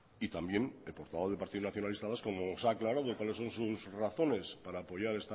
y también el portavoz del partido nacionalista vasco como nos ha aclarado cuáles son sus razones para apoyar